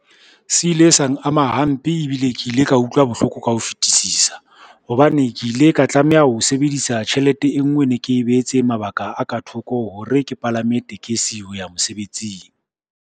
Se ile sang ama hampe, ebile ke ile ka utlwa bohloko ka ho fetisisa, hobane ke ile ka tlameha ho sebedisa tjhelete e ngwe e ne ke e behetse mabaka a ka thoko hore ke palame tekesi ho ya mosebetsing.